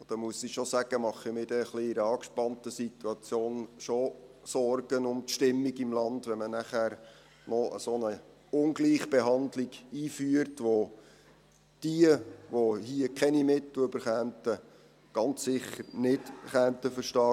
Und da muss ich schon sagen, dass ich mir in einer etwas angespannten Situation Sorgen um die Stimmung im Land mache, wenn man eine solche Ungleichbehandlung einführt, was diejenigen, die keine Mittel erhalten würden, ganz sicher nicht verstehen könnten.